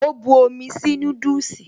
O bu omi sí núdùsì